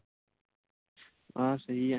ਆਹ ਸਹੀ ਹੈ